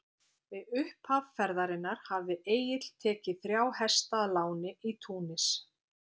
Við upphaf ferðarinnar hafði Egill tekið þrjá hesta að láni í Túnis.